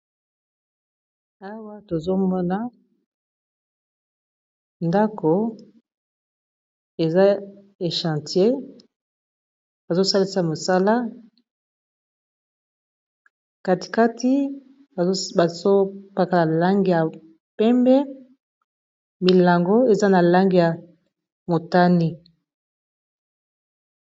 Awa tozomona ndako eza echantier bazo salisa mosala kati kati bazo paka na langi ya pembe milango eza na langi ya motane.